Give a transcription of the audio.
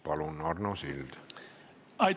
Palun, Arno Sild!